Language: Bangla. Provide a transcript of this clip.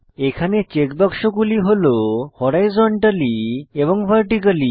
এখানে চেক বাক্সগুলি হল হরাইজন্টালি এবং ভার্টিকালি